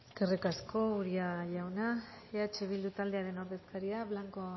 eskerrik asko uria jauna eh bildu taldearen ordezkaria blanco